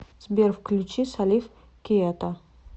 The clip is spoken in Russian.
сбер включи салиф киета